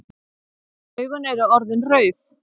Augun eru orðin rauð.